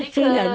Já tinha.